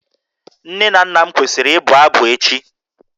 Nne na nna m kwesịrị ịbụ abụ echi